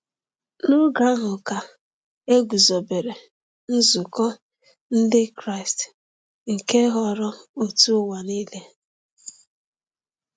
N’oge ahụ ka e guzobere nzukọ Ndị Kraịst nke ghọrọ òtù ụwa niile.